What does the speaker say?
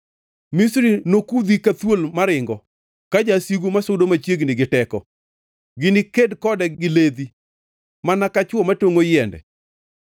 Misri nokudhi ka thuol maringo ka jasigu masudo machiegni gi teko; giniked kode gi ledhi, mana ka chwo matongʼo yiende.”